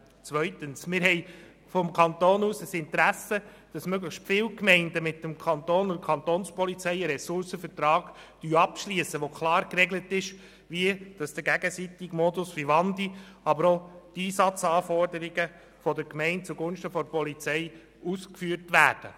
Zweitens haben wir vom Kanton aus ein Interesse, dass möglichst viele Gemeinden mit dem Kanton und der Kantonspolizei einen Ressourcenvertrag abschliessen, in dem klar geregelt ist, wie der gegenseitige Modus Vivendi und auch die Einsatzanforderungen der Gemeinde zugunsten der Polizei ausgeführt werden.